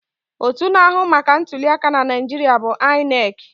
Otú na-ahụ maka ntuli aka na Naijiria bụ INEC.